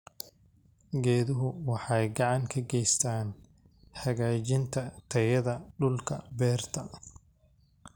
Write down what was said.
Geeduhu waxay gacan ka geystaan ??hagaajinta tayada dhulka beerta.